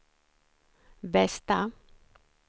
bästa